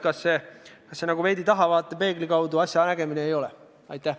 Kas see pole veidi nagu tahavaatepeegli kaudu asja nägemine?